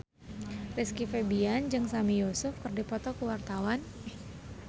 Rizky Febian jeung Sami Yusuf keur dipoto ku wartawan